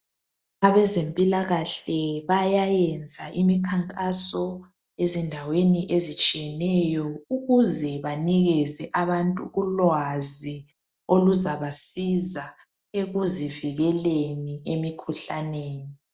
Abazempilakahle bayayenza imikhankaso ezindaweni ezitshiyeneyo ukuze banikeze abantu ulwazi oluzabasiza ekuzivikeleni emikhuhlaneni.